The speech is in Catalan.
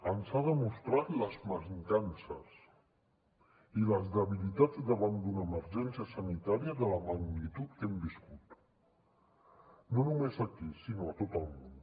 ens ha demostrat les mancances i les debilitats davant d’una emergència sanitària de la magnitud que hem viscut no només aquí sinó a tot el món